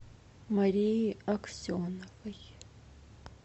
марии аксеновой